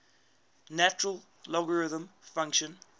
natural logarithm function